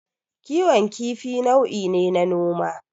Kiwon kifi nau'i ne na noma.